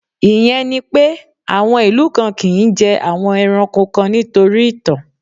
Ìyẹn ni pé, àwọn ìlú kan kì ń jẹ àwọn ẹranko kan nítorí ìtàn.